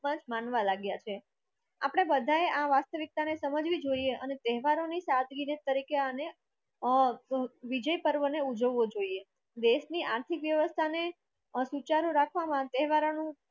માનવા લગીય છેય આપણે બધાએ આ વાસ્તવિકતાને સમજવી જોઈએ અને તહેવારોની સાદગીને તરીકે અને અ અ વિજય પર્વને ઉજવવો જોઈએ દેશની આર્થિક વ્યવસ્થાને સૂચરું રખવામનુ તે વારનું